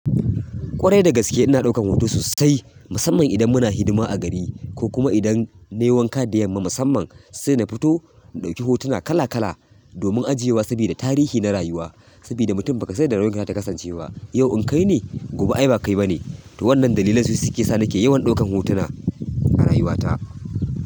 Ƙwarai da gaske ina ɗaukan hoto sosai, musamman idan muna hidima a gari ko kuma idan nayi wanka da yamma musamman sai na fito na ɗauki hotuna kala kala domin ajiyewa sabida tarihi na rayuwa sabida mutum ba kasan yan da rayuwan za ta kasancewa. Yau in kai ne, gobe ai ba kai ba ne. To wannan dalilan su sukesa nake yawan ɗaukan hotuna a rayuwa ta.